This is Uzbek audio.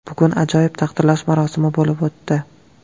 Bugun ajoyib taqdirlash marosimi bo‘lib o‘tdi.